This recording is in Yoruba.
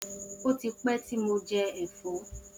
O ti pẹ ti mo jẹ ẹfọ.